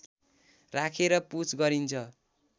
राखेर पुछ गरिन्छ